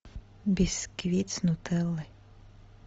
бисквит с нутеллой